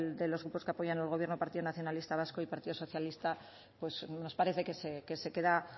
de los grupos que apoyan al gobierno partido nacionalista vasco y partido socialista pues nos parece que se queda